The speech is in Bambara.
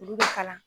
Olu bɛ kalan